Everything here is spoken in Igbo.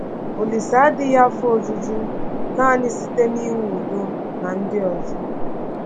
Olise adịghị afọ ojuju nanị site n’inwe udo na ndị ọzọ.